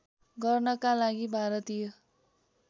गर्नका लागि भारतीय